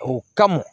O kama